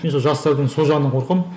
мен сол жастардың сол жағынан қорқамын